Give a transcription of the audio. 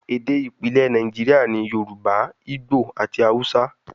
Ede ipilẹ Naijiria ni Yoruba, Igbo ati Hausa